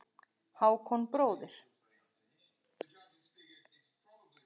Hákon bróðir.